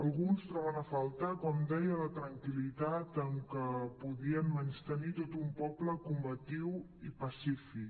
alguns troben a faltar com deia la tranquil·litat amb què podien menystenir tot un poble combatiu i pacífic